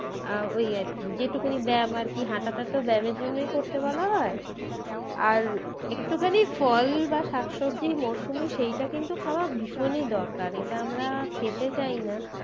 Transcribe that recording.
আহ ওই আর কি যে টুকুনি ব্যাম আর কি হাঁটাটা তো ব্যামের জন্যই করতে বলা হয়। আর একটুখানি ফল বা শাক সবজি মরসুমে সেইটা কিন্তু খাওয়া ভীষণই দরকার এটা আমরা খেতে চাই না